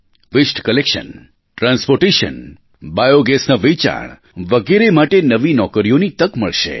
વસ્તે collection transportation બાયૉગેસના વેચાણ વગેરે માટે નવી નોકરીઓની તક મળશે